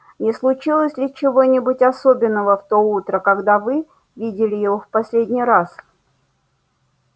не случилось ли чего-нибудь особенного в то утро когда вы видели его в последний раз